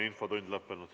Infotund on lõppenud.